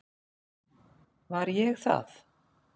Var ég það?